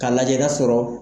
K'a lajɛ ka sɔrɔ